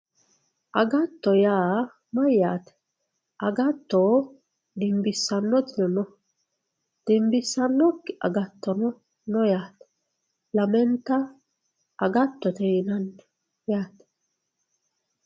agatto yaa mayyate agatto dimbissannotino no dimbissannokki agattomo no yaate lamenta agattote yinannini yaate